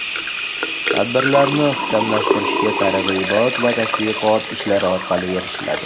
Tadbirlarni ixchamlashtirishga targ‘ibot-tashviqot ishlari orqali erishiladi.